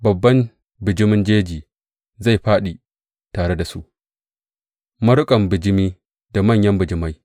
Babban bijimin jeji zai fāɗi tare da su, maruƙan bijimi da manyan bijimai.